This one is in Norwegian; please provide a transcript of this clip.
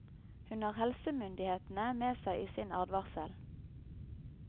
Hun har helsemyndighetene med seg i sin advarsel.